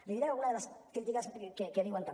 li diré alguna de les crítiques que diuen també